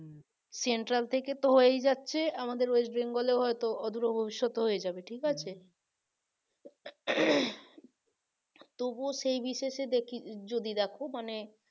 central থেকে তো হয়েই যাচ্ছে আমাদের west bengal এ হয়তো অদূরে ভবিষ্যতে হয়ে যাবে ঠিক আছে তবুও সেই বিশেষে সে দেখি যদি দেখো মানে